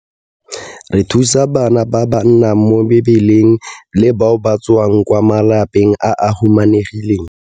Re thusa bana ba ba nnang mo mebileng le bao ba tswang kwa malapeng a a humanegileng.